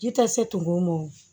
Ji tɛ se tugun o ma o